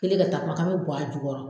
Kelen ka taa k'an bɛ bɔn a jukɔrɔ.